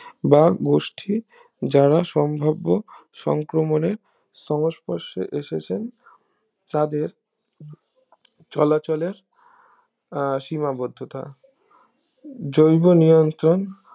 বা গোষ্ঠী যারা সম্ভাব্য সংক্রমণে সংস্পর্শে এসেছেন তাদের চলাচলের আহ সীমাবদ্ধতা জৈব নিয়ন্ত্রণ